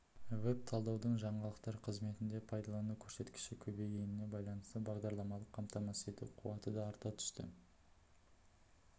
веб-талдаудың жаңалықтар қызметінде пайдалану көрсеткіші көбейгеніне байланысты бағдарламалық қамтамасыз ету қуаты да арта түсті